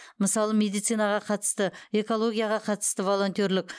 мысалы медицинаға қатысты экологияға қатысты волонтерлік